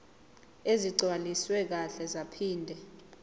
ezigcwaliswe kahle zaphinde